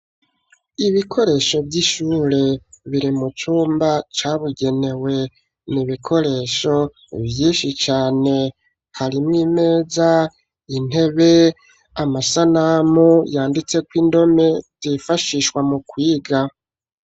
Ibikoresho vy'ishure biri mu cumba cabugenewe, n'ibikoresho vyinshi cane, harimwo imeza n'intebe amasanamu yanditseko indome zifashishwa mu kwiga.